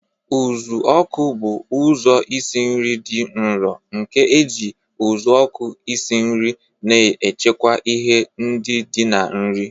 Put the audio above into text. Uzuoku bụ ụzọ isi nri dị nro nke na-eji uzuoku esi nri, na-echekwa ihe ndi di na nri.